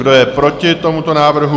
Kdo je proti tomuto návrhu?